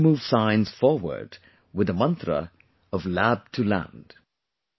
We have to move science forward with the mantra of 'Lab to Land'